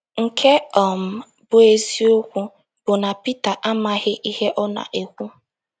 Nke um bụ́ eziokwu bụ na Pita amaghị ihe ọ na - ekwu..